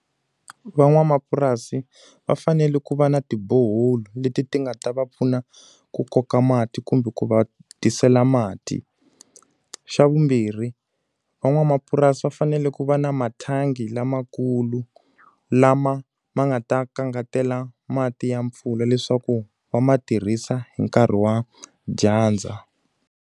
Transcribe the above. Van'wamapurasi va fanele ku va na ti-borehole leti ti nga ta va pfuna ku koka mati kumbe ku va tisela mati. Xa vumbirhi, van'wamapurasi va fanele ku va na mathangi lamakulu lama ma nga ta kangatela mati ya mpfula leswaku va ma tirhisa hi nkarhi wa dyandza.